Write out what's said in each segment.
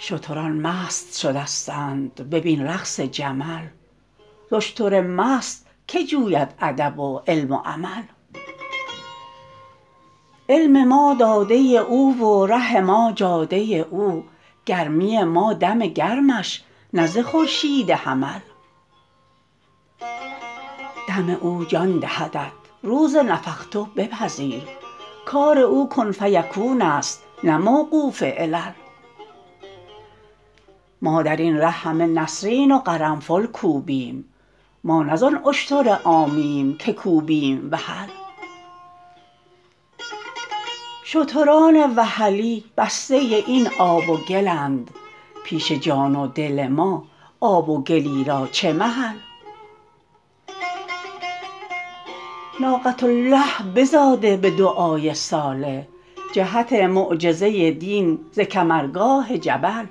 شتران مست شدستند ببین رقص جمل ز اشتر مست که جوید ادب و علم و عمل علم ما داده ی او و ره ما جاده ی او گرمی ما دم گرمش نه ز خورشید حمل دم او جان دهدت روز نفخت بپذیر کار او کن فیکون ست نه موقوف علل ما در این ره همه نسرین و قرنفل کوبیم ما نه زان اشتر عامیم که کوبیم وحل شتران وحلی بسته ی این آب و گلند پیش جان و دل ما آب و گلی را چه محل ناقة الله بزاده به دعای صالح جهت معجزه ی دین ز کمرگاه جبل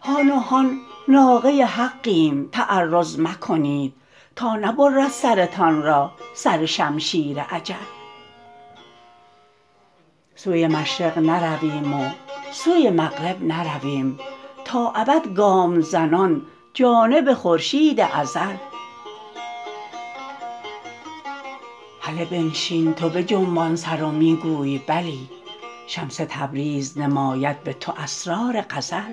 هان و هان ناقه ی حقیم تعرض مکنید تا نبرد سرتان را سر شمشیر اجل سوی مشرق نرویم و سوی مغرب نرویم تا ابد گام زنان جانب خورشید ازل هله بنشین تو بجنبان سر و می گوی بلی شمس تبریز نماید به تو اسرار غزل